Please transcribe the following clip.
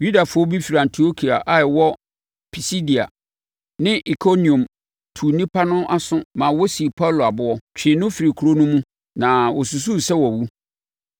Yudafoɔ bi firi Antiokia a ɛwɔ Pisidia ne Ikoniom tuu nnipa no aso maa wɔsii Paulo aboɔ, twee no firii kuro no mu; na wɔsusu sɛ wawu.